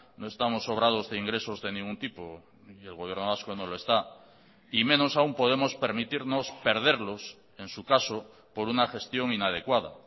no estamos sobrados de ingresos de ningún tipo y el gobierno vasco no lo está y menos aún podemos permitirnos perderlos en su caso por una gestión inadecuada